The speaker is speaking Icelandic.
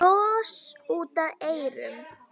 Bros út að eyrum.